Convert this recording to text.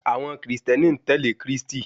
Àwọn kìrìsìtẹ́nì ń tẹ̀lé Krístì